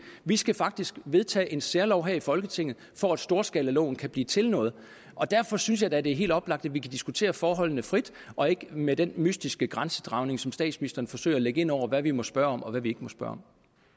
vi skal faktisk vedtage en særlov her i folketinget for at storskalaloven kan blive til noget og derfor synes jeg da det er helt oplagt at vi kan diskutere forholdene frit og ikke med den mystiske grænsedragning som statsministeren forsøger at lægge ind over hvad vi må spørge om og hvad vi ikke må spørge